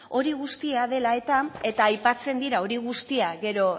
hori guztia dela eta aipatzen dira hori guztia gero